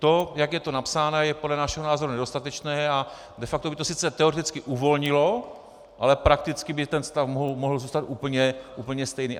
To, jak je to napsáno, je podle našeho názoru nedostatečné a de facto by to sice teoreticky uvolnilo, ale prakticky by ten stav mohl zůstat úplně stejný.